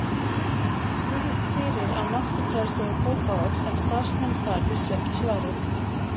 Ég spurðist fyrir á Náttúrufræðistofu Kópavogs en starfsmenn þar vissu ekki svarið.